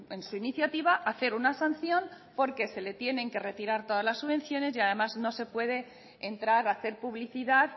en su iniciativa hacer una sanción porque se le tienen que retirar todas las subvenciones y además no se puede entrar a hacer publicidad